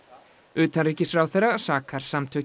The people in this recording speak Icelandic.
utanríkisráðherra sakar samtökin